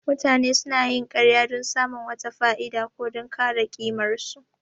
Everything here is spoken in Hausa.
Mutane sunayin ƙarya don samun wata fa'ida, ko don kare ƙimarsu.